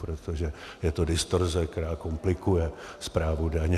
Protože to je distorze, která komplikuje správu daně.